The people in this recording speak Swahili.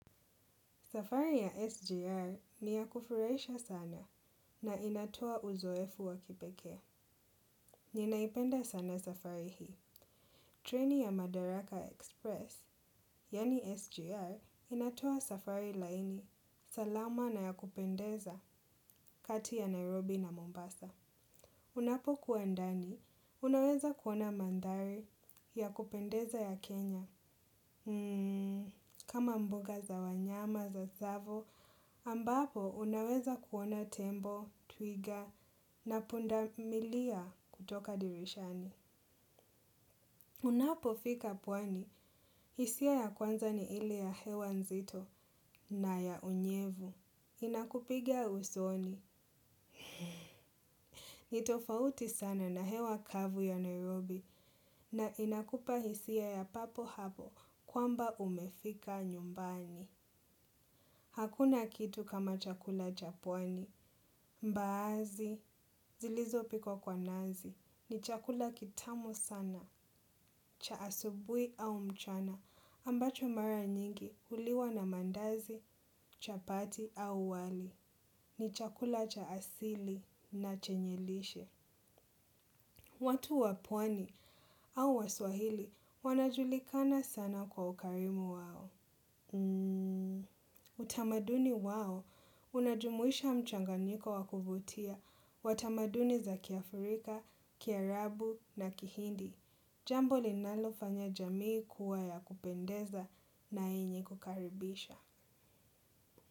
Safari ya SGR ni ya kufurahisha sana na inatoa uzoefu wa kipekee. Ninaipenda sana safari hii. Treni ya Madaraka Express, yaani SGR, inatoa safari laini. Salama na ya kupendeza kati ya Nairobi na Mombasa. Unapokuwa ndani, unaweza kuona mandhari ya kupendeza ya Kenya. Kama mboga za wanyama za Tsavo, ambapo unaweza kuona tembo, twiga na pundamilia kutoka dirishani. Unapofika pwani, hisia ya kwanza ni ile ya hewa nzito na ya unyevu. Inakupiga usoni. Nitofauti sana na hewa kavu ya Nairobi na inakupa hisia ya papo hapo kwamba umefika nyumbani. Hakuna kitu kama chakula cha pwani, mbaazi, zilizopikwa kwa nazi, ni chakula kitamu sana, cha asubuhi au mchana, ambacho mara nyingi huliwa na mandazi, chapati au wali, ni chakula cha asili na chenye lishe. Watu wa pwani au waswahili wanajulikana sana kwa ukarimu wao. Utamaduni wao, unajumuisha mchanganyiko wa kuvutia. Wa tamaduni za kiafrika, kiarabu na kihindi. Jambo linalofanya jamii kuwa ya kupendeza na yenye kukaribisha.